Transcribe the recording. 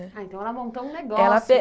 Ah, então ela montou um negócio.